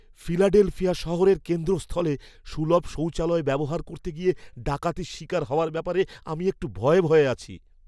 Philadelphia শহরের কেন্দ্রস্থলে সুলভ শৌচালয় ব্যবহার করতে গিয়ে ডাকাতির শিকার হওয়ার ব্যাপারে আমি একটু ভয়ে ভয়ে আছি।